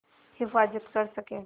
हिफ़ाज़त कर सकें